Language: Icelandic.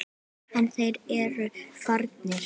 En þeir eru farnir.